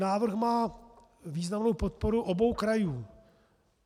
Návrh má významnou podporu obou krajů.